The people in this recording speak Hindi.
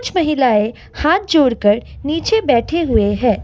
कुछ महिलाएं हाथ जोड़कर नीचे बैठे हुए हैं।